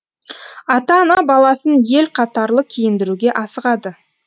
ата ана баласын ел қатарлы киіндіруге асығады